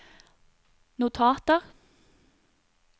notater